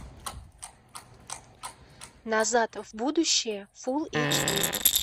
назад в будущее фул эйч ди